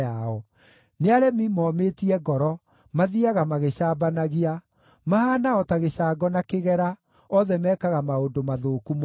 Nĩ aremi momĩtie ngoro, mathiiaga magĩcambanagia. Mahaana o ta gĩcango na kĩgera; othe mekaga maũndũ mathũku mũno.